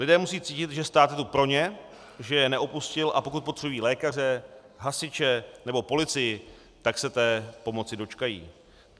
Lidé musejí cítit, že stát je tu pro ně, že je neopustil, a pokud potřebují lékaře, hasiče nebo policii, tak se té pomoci dočkají.